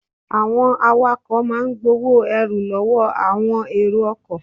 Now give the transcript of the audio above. Àwọn awakọ̀ máa ń gbowó ẹrù lọ́wọ́ àwọn èrò ọkọ̀.